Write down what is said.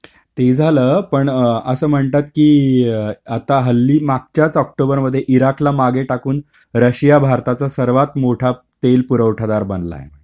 ते झालं पण असं म्हणतात कि, आता हल्ली मागच्याच ऑक्टोबरमध्ये इराकला मागे टाकून रशिया भारताचा सर्वात मोठा तेल पुरवठादार बनलाय.